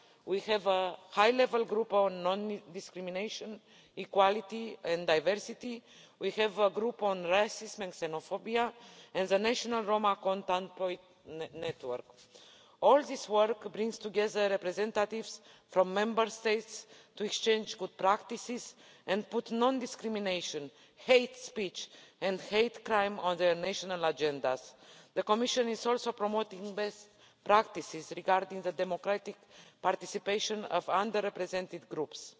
We have a High Level Group on Non Discrimination, Equality and Diversity, a Group on Racism and Xenophobia and the National Roma Contact Points network. All this work brings together representatives from Member States to exchange good practices and put non discrimination, hate speech and hate crime on their national agendas. The Commission is also promoting best practices regarding the democratic participation of underrepresented groups.